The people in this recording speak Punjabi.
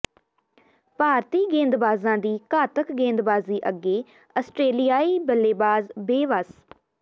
ਭਾਰਤੀ ਗੇਂਦਬਾਜਾਂ ਦੀ ਘਾਤਕ ਗੇਂਦਬਾਜੀ ਅੱਗੇ ਆਸਟ੍ਰੇਲੀਆਈ ਬੱਲੇਬਾਜ਼ ਬੇਵੱਸ